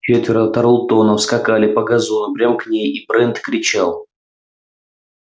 четверо тарлтонов скакали по газону прямо к ней и брент кричал